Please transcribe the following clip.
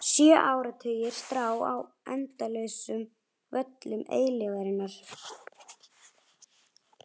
Sjö áratugir: strá á endalausum völlum eilífðarinnar.